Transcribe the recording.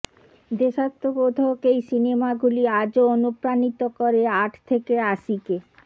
দেশাত্মবোধক এই সিনেমাগুলি আজও অনুপ্রাণিত করে আট থেকে আশিকে